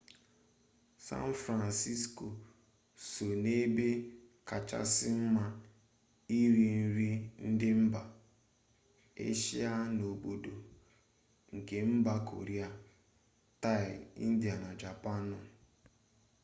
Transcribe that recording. san fransisko so n'ebe kachasị mma iri nri ndị mba eshia n'obodo nke mba koria taị india na japaanụ